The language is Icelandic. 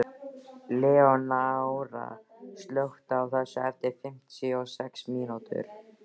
Leónóra, slökktu á þessu eftir fimmtíu og sex mínútur.